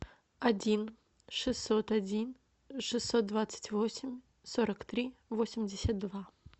один шестьсот один шестьсот двадцать восемь сорок три восемьдесят два